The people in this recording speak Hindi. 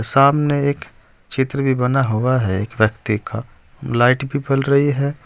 सामने एक चित्र भी बना हुआ है एक व्यक्ति का लाइट भी रही है।